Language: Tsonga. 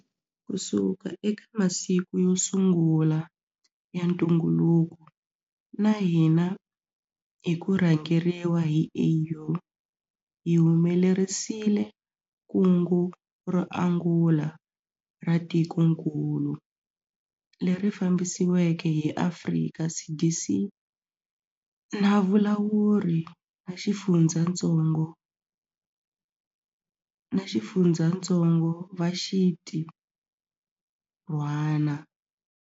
Kusuka eka masiku yo sungula ya ntunguluko na hina hi ku rhangeriwa hi AU, hi humelerisile kungu ro angula ra tikokulu, leri fambisiweke hi Afrika CDC na valawuri va xifundzatsongo va xintirhwana.